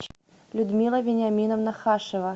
людмила вениаминовна хашева